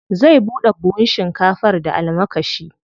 Zai buɗe buhun shinkafar da almakashi.